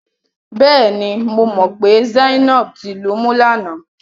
Bẹ́ẹ̀ni, mo mọ̀ pé Zainab ti lumú lánàá.